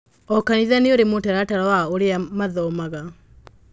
O kanitha nĩ ũrĩ mũtaratara wa ũrĩa mathomaga